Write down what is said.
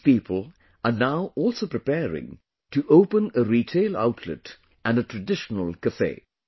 These people are now also preparing to open a retail outlet and a traditional cafe